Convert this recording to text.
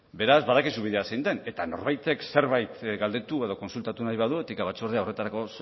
beraz badakizu bidea zein den eta norbaitek zerbait galdetu edo kontsultatu nahi badu etika batzordea horretarako